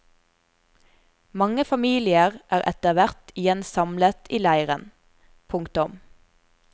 Mange familier er etterhvert igjen samlet i leiren. punktum